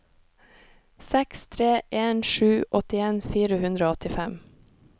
seks tre en sju åttien fire hundre og åttifem